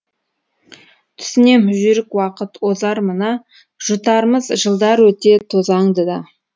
түсінем жүйрік уақыт озар мына жұтармыз жылдар өте тозаңды да